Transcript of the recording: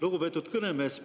Lugupeetud kõnemees!